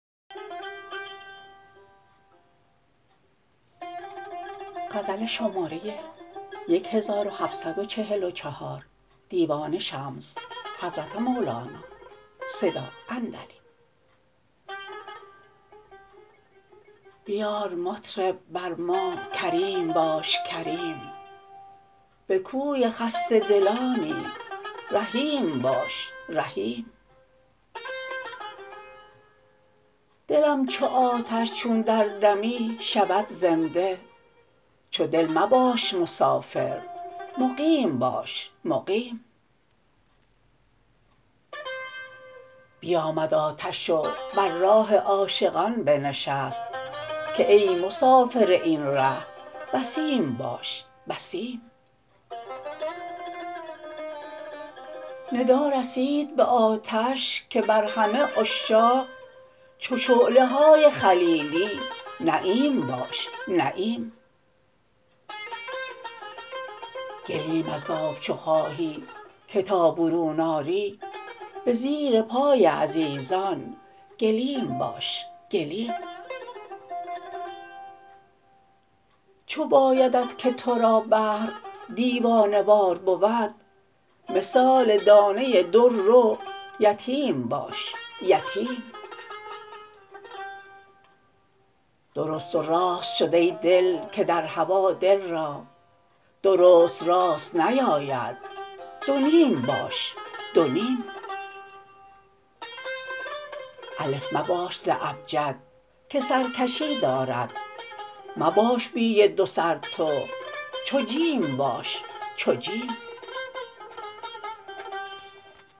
بیار مطرب بر ما کریم باش کریم به کوی خسته دلانی رحیم باش رحیم دلم چو آتش چون در دمی شود زنده چو دل مباش مسافر مقیم باش مقیم بیامد آتش و بر راه عاشقان بنشست که ای مسافر این ره یتیم باش یتیم ندا رسید به آتش که بر همه عشاق چو شعله های خلیلی نعیم باش نعیم گلیم از آب چو خواهی که تا برون آری به زیر پای عزیزان گلیم باش گلیم چو بایدت که تو را بحر دایه وار بود مثال دانه در رو یتیم باش یتیم درست و راست شد ای دل که در هوا دل را درست راست نیاید دو نیم باش دو نیم الف مباش ز ابجد که سرکشی دارد مباش بی دو سر تو چو جیم باش چو جیم